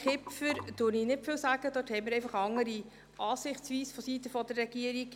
Kipfer sage ich nicht viel, dazu haben wir vonseiten der Regierung einfach eine andere Sichtweise.